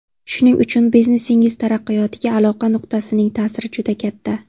Shuning uchun biznesingiz taraqqiyotiga aloqa nuqtasining ta’siri juda katta.